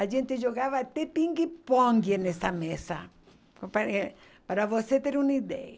A gente jogava até pingue-pongue nessa mesa, pa pa eh para você ter uma ideia.